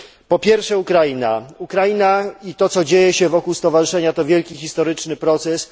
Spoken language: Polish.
Po pierwsze, Ukraina i to, co dzieje się wokół stowarzyszenia, to wielki historyczny proces.